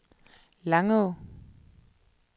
Langå